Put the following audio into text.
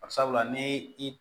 sabula ni i